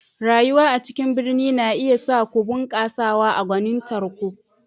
Rayuwa a cikin birni na iya sa ku bunƙasawa a gwanintar ku.